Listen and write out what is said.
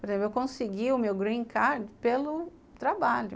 Por exemplo, eu consegui o meu green card pelo trabalho.